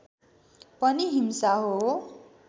पनि हिंसा हो